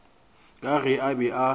ka ge a be a